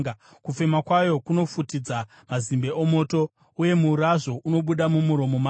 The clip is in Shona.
Kufema kwayo kunopfutidza mazimbe omoto, uye murazvo unobuda mumuromo mayo.